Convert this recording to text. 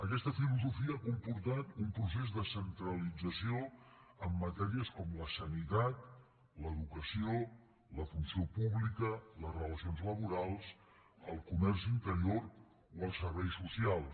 aquesta filosofia ha comportat un procés de centralització en matèries com la sanitat l’educació la funció pública les relacions laborals el comerç interior o els serveis socials